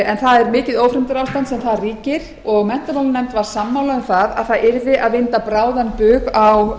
það er mikið ófremdarástand sem þar ríkir og menntamálanefnd var sammála um að það yrði að vinda bráðan bug á